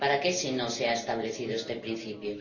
¿Para qué si no se ha establecido este principio?